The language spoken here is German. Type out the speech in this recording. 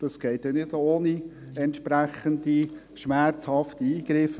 Das wird nicht ohne entsprechende, schmerzhafte Eingriffe gehen.